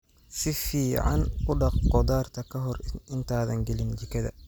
Si fiican u dhaq khudaarta ka hor intaadan gelin jikada.